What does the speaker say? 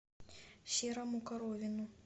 серому коровину